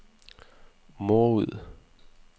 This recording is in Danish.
Morud